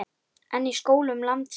En í skólum landsins?